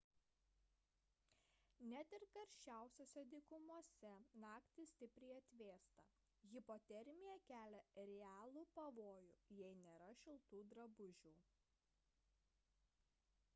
net ir karščiausiose dykumose naktį stipriai atvėsta hipotermija kelia realų pavojų jei nėra šiltų drabužių